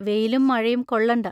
വെയിലും മഴയും കൊള്ളണ്ട.